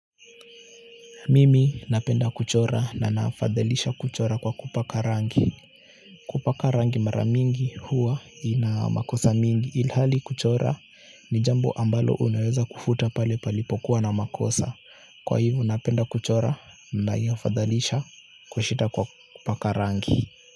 Mimi napenda kuchora na naafadhalisha kuchora kwa kupaka rangi. Kupaka rangi maramingi huwa inamakosa mingi, ilhali kuchora ni jambo ambalo unaweza kufuta pale palipokuwa na makosa. Kwa hivo napenda kuchora naiafadhalisha kushita kwa kupaka rangi.